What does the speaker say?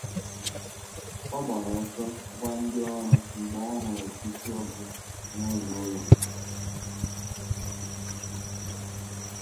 ọ gbàrà ọsọ gwa ndị ọrụ mgbe ọ hụrụ̀ ísì ọkụ̀ n’ụzọ ụlọ̀.